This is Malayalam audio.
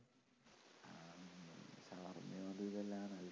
അത്